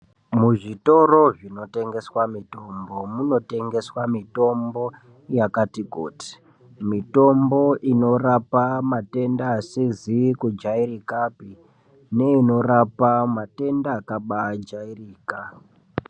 Muzvitoro zvinotengeswa mitombo munotengeswa mitombo yakati kuti, mitombo inorapa matenda asizi kujairika neinorapa matenda akabajairika.